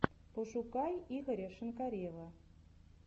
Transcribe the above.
пошукай игоря шинкарева